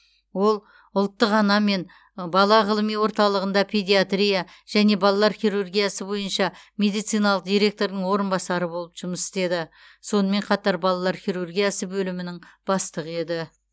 ол ұлттық ана мен бала ғылыми орталығында педиатрия және балалар хирургиясы бойынша медициналық директордың орынбасары болып жұмыс істеді сонымен қатар балалар хирургиясы бөлімінің бастығы еді